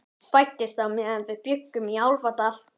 Hún fæddist meðan við bjuggum í Álfadal.